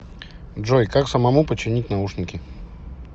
джой как самому починить наушники